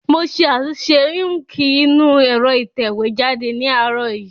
Mo ṣe àtúnṣe íǹkì inú ẹ̀rọ ìtẹ̀wé jáde ní àárọ̀ yìí